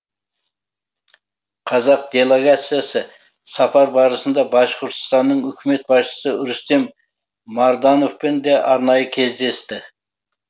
қазақ делегациясы сапар барысында башқұртстанның үкімет басшысы рустем мардановпен де арнайы кездесті